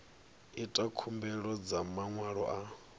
ita khumbelo dza maṅwalo a